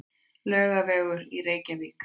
Laugavegur í Reykjavík.